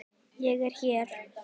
Ég er hér.